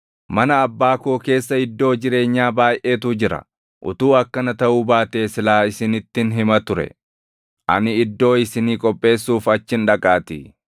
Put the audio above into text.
Mana Abbaa koo keessa iddoo jireenyaa baayʼeetu jira; utuu akkana taʼuu baatee silaa isinittin hima ture. Ani iddoo isinii qopheessuuf achin dhaqaatii.